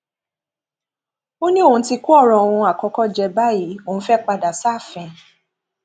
ó ní òun ti kó ọrọ òun àkọkọ jẹ báyìí òun fẹẹ padà sáàfin